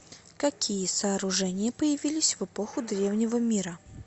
какие сооружения появились в эпоху древнего мира